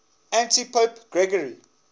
antipope gregory